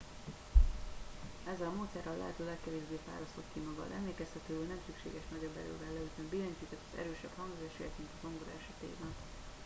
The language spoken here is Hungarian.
ezzel a módszerrel a lehető legkevésbé fárasztod ki magad emlékeztetőül nem szükséges nagyobb erővel leütni a billentyűket az erősebb hangzásért mint a zongora esetében